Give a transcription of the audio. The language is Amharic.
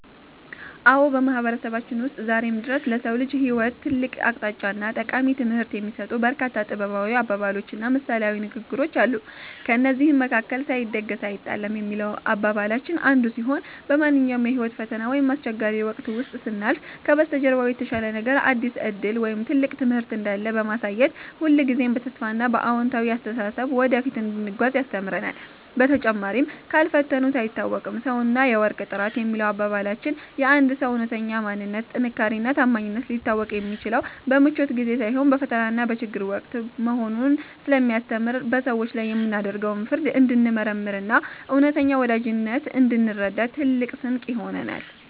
አዎ፣ በማህበረሰባችን ውስጥ ዛሬም ድረስ ለሰው ልጅ ህይወት ትልቅ አቅጣጫና ጠቃሚ ትምህርት የሚሰጡ በርካታ ጥበባዊ አባባሎችና ምሳሌያዊ ንግግሮች አሉ። ከእነዚህም መካከል “ሳይደግስ አይጣላም” የሚለው አባባላችን አንዱ ሲሆን፣ በማንኛውም የህይወት ፈተና ወይም አስቸጋሪ ወቅት ውስጥ ስናልፍ ከበስተጀርባው የተሻለ ነገር፣ አዲስ ዕድል ወይም ትልቅ ትምህርት እንዳለ በማሳየት ሁልጊዜም በተስፋና በአዎንታዊ አስተሳሰብ ወደፊት እንድንጓዝ ያስተምረናል። በተጨማሪም “ካልፈተኑት አይታወቅም ሰውና የወርቅ ጥራት” የሚለው አባባላችን የአንድ ሰው እውነተኛ ማንነት፣ ጥንካሬና ታማኝነት ሊታወቅ የሚችለው በምቾት ጊዜ ሳይሆን በፈተናና በችግር ወቅት መሆኑን ስለሚያስተምር፣ በሰዎች ላይ የምናደርገውን ፍርድ እንድንመረምርና እውነተኛ ወዳጅነትን እንድንረዳ ትልቅ ስንቅ ይሆነናል።